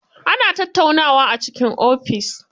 Ana tattaunawa a cikin ofis.